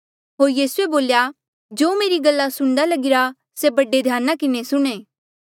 होर यीसूए बोल्या जो मेरी गल्ला सुणदा लगीरा से बड़े ध्याना किन्हें सुणें